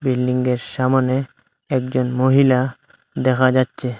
বিল্ডিংয়ের সামোনে একজন মহিলা দেখা যাচ্ছে।